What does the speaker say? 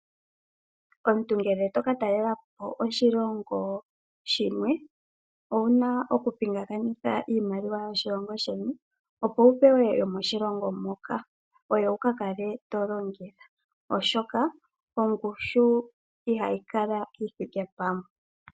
Omuntu ngele toka talelapo oshilongo shimwe owuna okupingakanitha iimaliwa yoshilongo sheni opo wupewe yomoshilongo moka oyo wukakale tolongitha oshoka ongushu ihayi kala yithike pamwe.